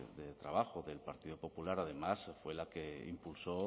de trabajo del partido popular además fue la que impulsó